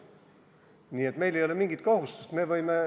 Nii et meil ei ole mingit kohustust.